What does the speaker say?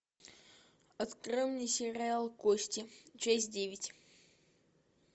открой мне сериал кости часть девять